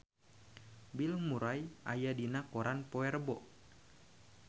Bill Murray aya dina koran poe Rebo